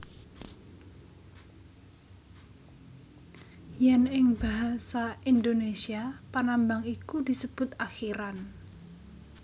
Yen ing basa Indonesia panambang iku disebut akhiran